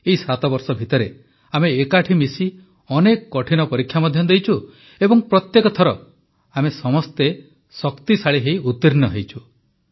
ଏହି 7 ବର୍ଷ ଭିତରେ ଆମେ ଏକାଠି ମିଶି ଅନେକ କଠିନ ପରୀକ୍ଷା ମଧ୍ୟ ଦେଇଛୁ ଏବଂ ପ୍ରତ୍ୟେକ ଥର ଆମେ ସମସ୍ତେ ଶକ୍ତିଶାଳୀ ହୋଇ ଉତୀର୍ଣ୍ଣ ହୋଇଛୁ